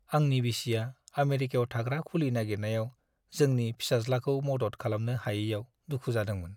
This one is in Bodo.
आंनि बिसिआ आमेरिकायाव थाग्रा खुलि नागिरनायाव जोंनि फिसाज्लाखौ मदद खालामनो हायैआव दुखु जादोंमोन।